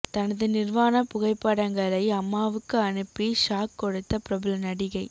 தனது நிர்வாண புகைப்படங்களை அம்மாவுக்கு அனுப்பி ஷாக் கொடுத்த பிரபல நடிகை